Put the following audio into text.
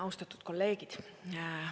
Austatud kolleegid.